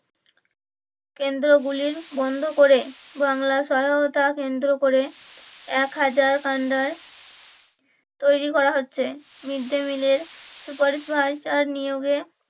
কেন্দ্র গুলির বন্ধ করে বাংলার সহায়তা কেন্দ্র করে একহাজার তৈরী করা হচ্ছে mid day meal এর supervisor নিয়োগে